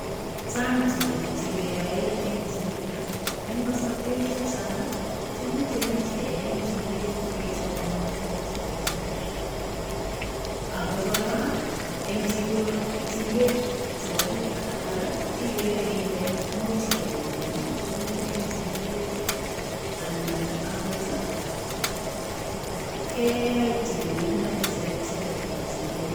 Chang tuguk che keyoe eng chiget. Eng kasarwek chechang, tuguk chemuch ketai eng chiget ko kechop amitwogik cheterter ago kora engchiget chebo biik alak igere ile much keuni tuguk emg chiget anan agot keyai tililindo neterter eng chiget.